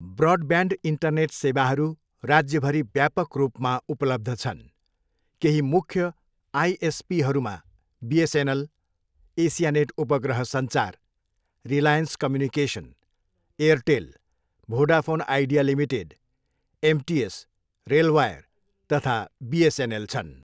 Broadband internet सेवाहरू राज्यभरि व्यापक रूपमा उपलब्ध छन्, केही मुख्य आइएसपीहरूमा बिएसएनएल, एसियानेट उपग्रह सञ्चार, Reliance communication, Airtel, Vodafone Idea limited, MTS, RailWire तथा बिएसएनएल छन्।